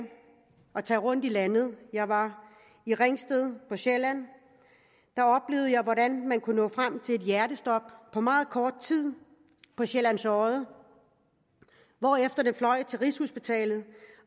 at tage rundt i landet jeg var i ringsted på sjælland og jeg hvordan man kunne nå frem til hjertestop på meget kort tid på sjællands odde hvorefter man fløj til rigshospitalet